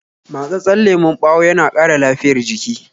Matsatsen lemon ɓawo yana ƙara lafiyar jiki